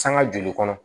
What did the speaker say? Sanga joli kɔnɔ